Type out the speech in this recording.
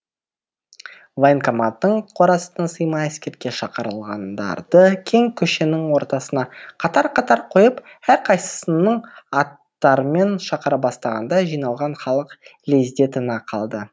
военкоматтың қорасына сыймай әскерге шақырылғандарды кең көшенің ортасына қатар қатар қойып әрқайсысының аттарымен шақыра бастағанда жиналған халық лезде тына қалды